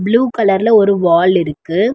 Blue கலர்ல ஒரு wall இருக்கு.